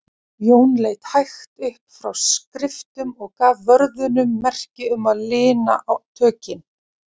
Jón leit hægt upp frá skriftum og gaf vörðunum merki um að lina tökin.